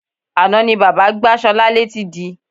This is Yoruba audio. Àná ni bàbá gbá Sola létí di.